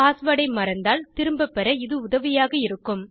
password ஐ மறந்தால் திரும்பப் பெற இது உதவியாக இருக்கும்